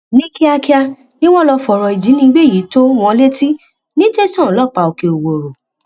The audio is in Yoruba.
ní kíákíá ni wọn lọọ fọrọ ìjínigbé yìí tó wọn létí ní tẹsán ọlọpàá òkè òwòrò